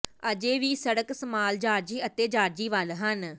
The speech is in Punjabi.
ਅਜੇ ਵੀ ਸੜਕ ਸਮਾਲ ਜਾਰਜੀ ਅਤੇ ਜਾਰਜੀ ਵਲ ਹਨ